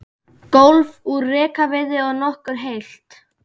Gólf úr rekaviði og nokkuð heilt.